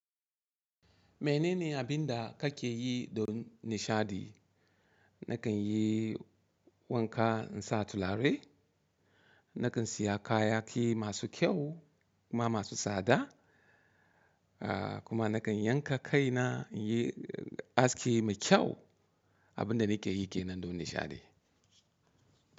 Menene abinda kake yi don nishaɗi? Nakan yi wanka in sa turare, nakan siya kayaki masu kyau kuma masu tsada, ah kuma nakan yanka kaina in yi aski mai kyau. Abinda nake yi kenan don nishaɗi.